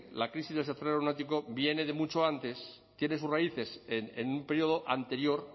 la crisis del sector aeronáutico viene de mucho antes tiene sus raíces en un periodo anterior